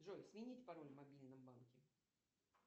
джой сменить пароль в мобильном банке